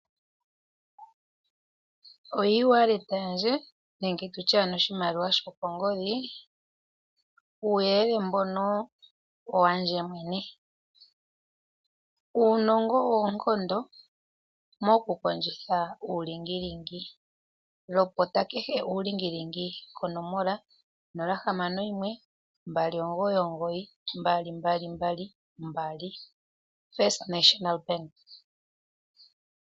Oewallet yandje nenge tutye oshimaliwa shokongodhi, uuyelele mbono owandje mwene. Uunongo owo oonkondo moku kondjitha uulingilingi. Lopota kehe uulingilingi konomola 0612992222, First National Bank.